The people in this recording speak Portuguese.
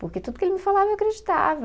Porque tudo que ele me falava eu acreditava.